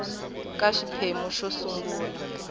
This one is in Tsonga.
ka xiphemu xo sungula xa